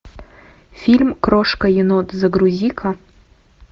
фильм крошка енот загрузи ка